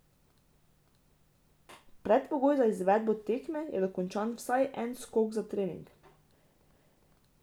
Predpogoj za izvedbo tekme je dokončan vsaj en skok za trening.